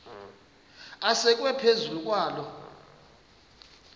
asekwe phezu kwaloo